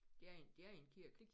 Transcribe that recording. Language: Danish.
Det er i det er i en kirke